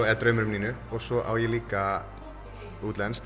eða draumur um Nínu og svo á ég líka útlenskt